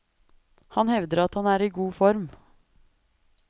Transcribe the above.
Han hevder at han er i god form.